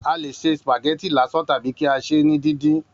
A lè ṣe spaghetti lásán tàbí kí a ṣèé ní díndín